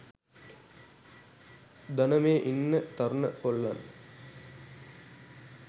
දන මේ ඉන්න තරුණ කොල්ලන්